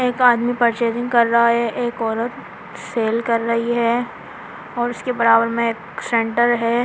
एक आदमी परचेजिंग कर रहा है एक औरत सेल कर रही है और उसके बराबर में एक सेंटर है।